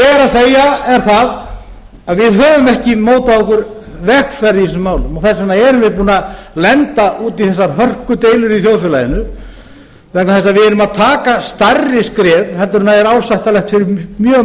að segja er að við höfum ekki mótað okkur vegferð í þessum málum þess vegna erum við búin að lenda út í þessar hörkudeilum í þjóðfélaginu vegna þess að við erum að taka stærri skref heldur en er ásættanlegt fyrir mjög